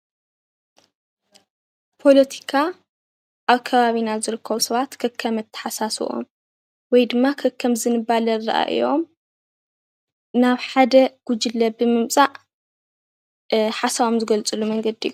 ፖለቲካ ኣብ ከባቢና ዝርከቡ ሰባት ከከምኣተሓሳስቦኦም ወይ ድማ ከከም ዝንባለ ኣረኣእዮኦም ናብ ሓደ ጉጅለ ብምምፃእ ሓሳቦም ዝገልፅሉ መንገዲ እዩ፡፡